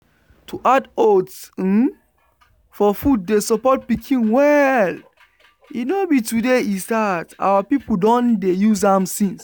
to add oats um for food dey support pikin well. e no be today e start. our people don dey use am since